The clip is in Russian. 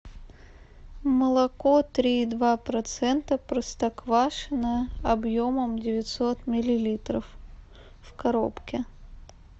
молоко три и два процента простоквашино объемом девятьсот миллилитров в коробке